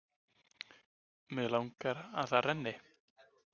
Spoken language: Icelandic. Mig langar að það renni.